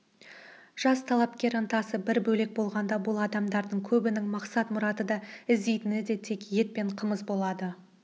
жас талапкерлер ынтасы бір бөлек болғанда бұл адамдардың көбінің мақсат-мұраты да іздейтіні де тек ет пен қымыз болады